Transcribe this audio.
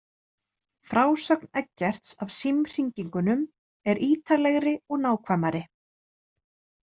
Frásögn Eggerts af símhringingunum er ítarlegri og nákvæmari.